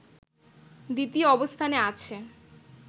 দ্বিতীয় অবস্থানে আছে